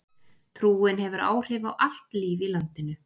trúin hefur áhrif á allt líf í landinu